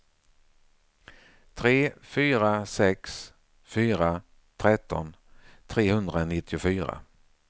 tre fyra sex fyra tretton trehundranittiofyra